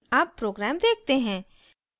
अब program देखते हैं